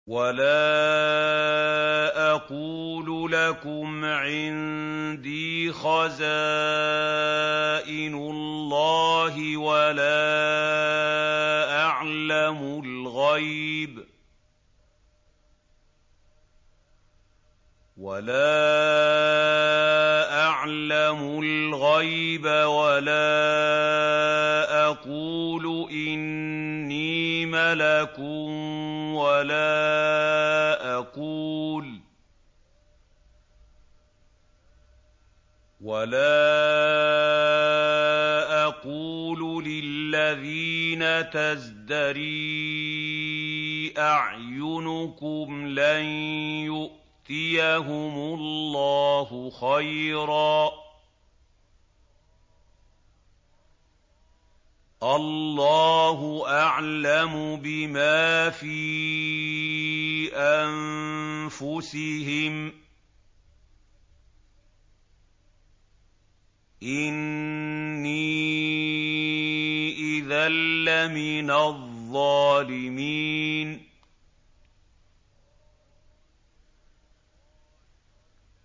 وَلَا أَقُولُ لَكُمْ عِندِي خَزَائِنُ اللَّهِ وَلَا أَعْلَمُ الْغَيْبَ وَلَا أَقُولُ إِنِّي مَلَكٌ وَلَا أَقُولُ لِلَّذِينَ تَزْدَرِي أَعْيُنُكُمْ لَن يُؤْتِيَهُمُ اللَّهُ خَيْرًا ۖ اللَّهُ أَعْلَمُ بِمَا فِي أَنفُسِهِمْ ۖ إِنِّي إِذًا لَّمِنَ الظَّالِمِينَ